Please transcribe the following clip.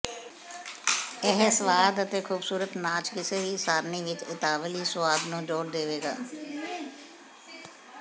ਇਹ ਸਵਾਦ ਅਤੇ ਖੂਬਸੂਰਤ ਨਾਚ ਕਿਸੇ ਵੀ ਸਾਰਨੀ ਵਿੱਚ ਇਤਾਲਵੀ ਸੁਆਦ ਨੂੰ ਜੋੜ ਦੇਵੇਗਾ